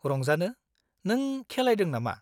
रंजानो, नों खेलायदों नामा?